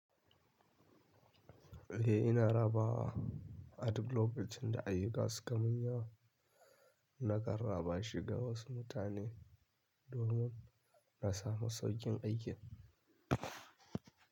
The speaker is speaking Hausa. Eh ina rabawa aduk lokacin da ayyuka suka mun yawa, na kanraba shiga wasu mutane domin na samu saukin aikin.